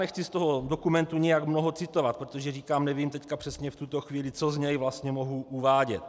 Nechci z toho dokumentu nijak mnoho citovat, protože říkám, nevím teď přesně v tuto chvíli, co z něj vlastně mohu uvádět.